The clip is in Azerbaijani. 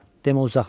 Demə uzaqmış.